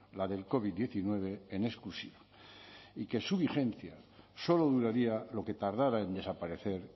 la del covid diecinueve en exclusiva y que su vigencia solo duraría lo que tardara en desaparecer